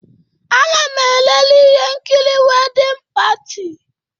Ana m elele ihe nkiri Wedding Party.